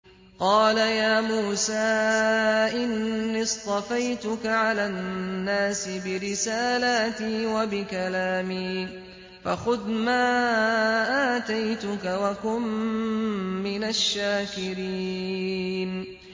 قَالَ يَا مُوسَىٰ إِنِّي اصْطَفَيْتُكَ عَلَى النَّاسِ بِرِسَالَاتِي وَبِكَلَامِي فَخُذْ مَا آتَيْتُكَ وَكُن مِّنَ الشَّاكِرِينَ